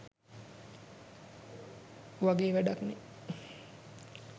වගේ වැඩක් නේ.